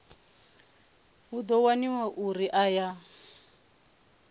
hu ḓo waniwa uri aya